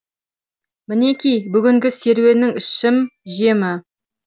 мінеки бүгінгі серуеннің ішім жемі